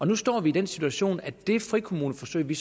nu står i den situation at det frikommuneforsøg vi